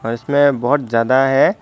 और इसमे बहोत ज्यादा है।